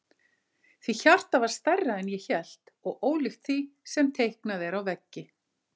Því hjartað var stærra en ég hélt og ólíkt því sem er teiknað á veggi.